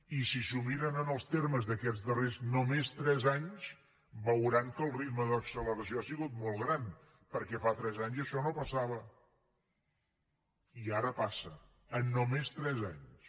i si s’ho miren en els termes d’aquests darrers només tres anys veuran que el ritme d’acceleració ha sigut molt gran perquè fa tres anys això no passava i ara passa en només tres anys